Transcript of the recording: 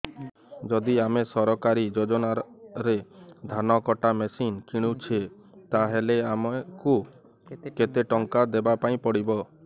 ଯଦି ଆମେ ସରକାରୀ ଯୋଜନାରେ ଧାନ କଟା ମେସିନ୍ କିଣୁଛେ ତାହାଲେ ଆମକୁ କେତେ ଟଙ୍କା ଦବାପାଇଁ ପଡିବ